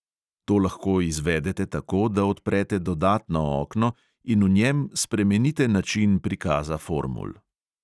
To lahko izvedete tako, da odprete dodatno okno in v njem spremenite način prikaza formul.